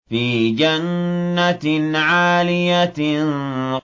فِي جَنَّةٍ عَالِيَةٍ